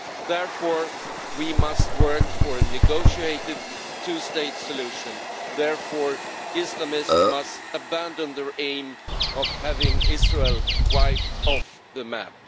Therefore, we must work for a negotiated two-state solution and Islamists must abandon their aim of having Israel wiped off the map.